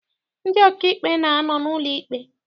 Ndị ọkaikpe na-anọ n'ụlọ ikpe.